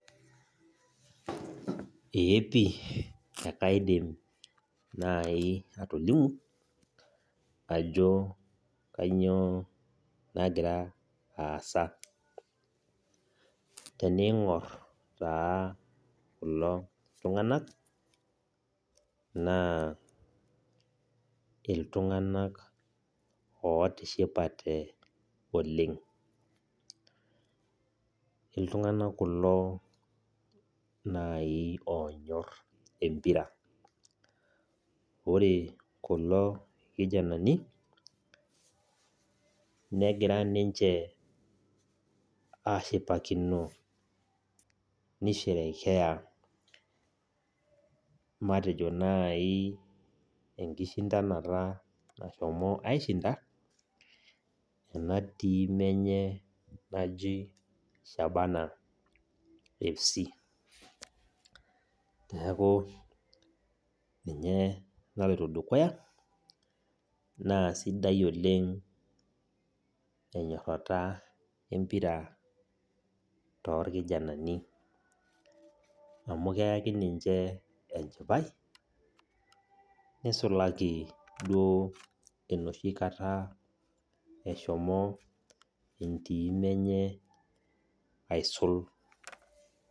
Eepi kaidim naaji atolimu ajo kainyoo nagira aasa. Tenigor naa kulo tunganak naa iltunganak ootishipate oleng. Iltunganak kulo oonyorr empira. Ore kulo kijanani negira niche aashipakino enkisulata naisulutua ina team enye naji Shabana Fc. Niaku ninye naloito dukuya naa sidai oleng ena toorbarnot amu keyau enchipai neisulaki esulutua ninche.